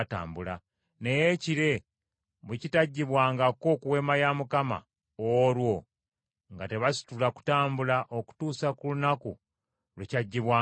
naye ekire bwe kitaggyibwangako ku Weema ya Mukama , olwo nga tebasitula kutambula okutuusa ku lunaku lwe kyaggyibwangako.